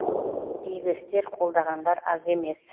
игі істі қолдағандар аз емес